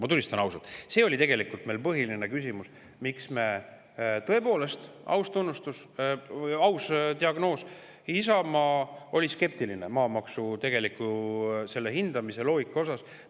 Ma tunnistan ausalt, et see oli meie põhiline küsimus, miks tõepoolest – aus tunnistus, aus diagnoos – Isamaa oli skeptiline selle maamaksu hindamise loogika suhtes.